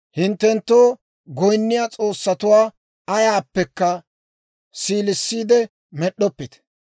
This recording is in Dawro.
«Hinttenttoo goynniyaa s'oossatuwaa ayaappekka siilisiide med'd'oppite.